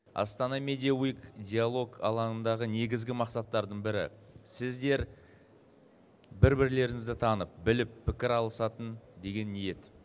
астана медия уик диалог алаңындағы негізгі мақсаттардың бірі сіздер бір бірлеріңізді танып біліп пікір алысатын деген ниет